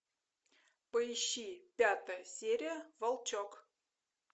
поищи пятая серия волчок